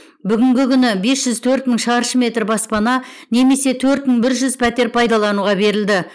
бүгінгі күні бес жүз төрт мың шаршы метр баспана немесе төрт мың бір жүз пәтер пайдалануға берілді